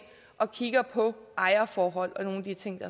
og kigger på ejerforhold og nogle af de ting